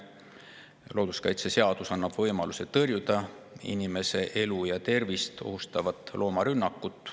Looduskaitseseadus annab võimaluse tõrjuda inimese elu ja tervist ohustavat loomarünnakut.